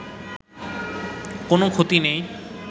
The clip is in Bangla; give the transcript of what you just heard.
কোন ক্ষতি নেই